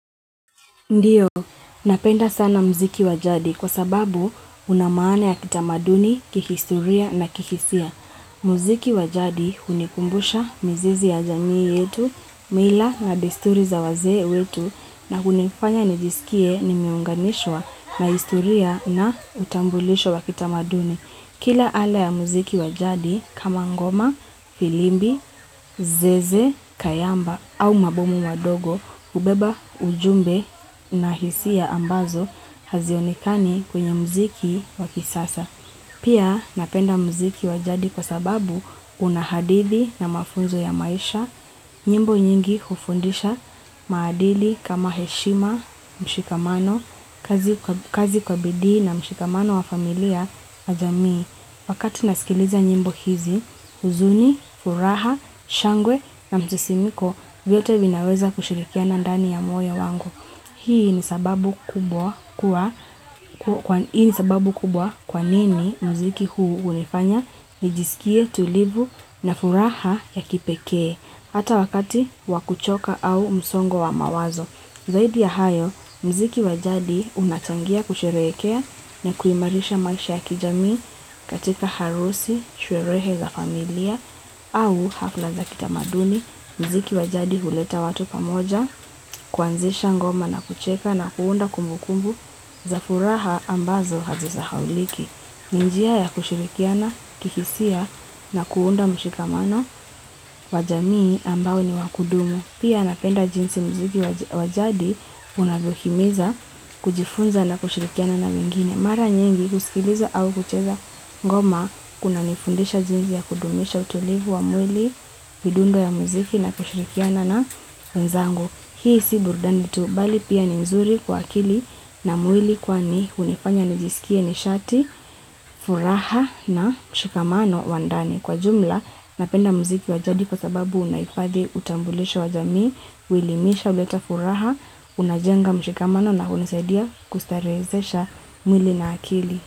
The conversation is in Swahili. Ndiyo, napenda sana mziki wa jadi kwa sababu unamaana ya kitamaduni, kihistoria na kihisia. Mziki wa jadi hunikumbusha mizizi ya jamii yetu, mila na desturi za wazee wetu na kunifanya nijisikie nimeunganishwa na historia na utambulisho wa kitamaduni. Kila ala ya muziki wa jadi kama ngoma, filimbi, zeze, kayamba au mabomu madogo, hubeba, ujumbe na hisia ambazo hazionekani kwenye muziki wa kisasa. Pia napenda mziki wa jadi kwa sababu unahadithi na mafunzo ya maisha nyimbo nyingi hufundisha maadili kama heshima mshikamano kazi kazi kwa bidii na mshikamano wa familia na jamii, wakati nasikiliza nyimbo hizi, huzuni, furaha, shangwe na msisimuko vyote vinaweza kushirikiana ndani ya moyo wangu. Hii ni sababu kubwa kwa nini mziki huu hunifanya nijisikie tulivu na furaha ya kipekee hata wakati wa kuchoka au msongo wa mawazo. Zaidi ya hayo, mziki wa jadi unachangia kusherehekea na kuimarisha maisha ya kijamii katika harusi, sherehe za familia, au hafla za kitamaduni, mziki wa jadi huleta watu pamoja, kuanzisha ngoma na kucheka na kuunda kumbu kumbu za furaha ambazo hazisahauliki. Ninjia ya kushurikiana kihisia na kuunda mshikamano wa jamii ambao ni wakudumu. Pia napenda jinsi mziki wa jadi unavyo himiza kujifunza na kushurikiana na wengine. Mara nyingi husikiliza au hucheza ngoma kuna nifundisha jinsi ya kudumisha utulivu wa mwili midundo ya mziki na kushurikiana na wenzangu. Hii si burudani tu, bali pia ni nzuri kwa akili na mwili kwani hunifanya nijisikie nishati, furaha na mshikamano wa ndani. Kwa jumla, napenda mziki wa jadi kwa sababu unaifadhi utambulisho wa jamii, uelimisha uleta furaha, unajenga mshikamano na hunisaidia kustarezesha mwili na akili.